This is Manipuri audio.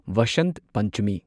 ꯚꯁꯟꯠ ꯄꯟꯆꯃꯤ